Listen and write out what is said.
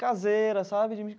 caseira, sabe?